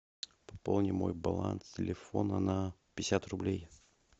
пополни мой баланс телефона на пятьдесят рублей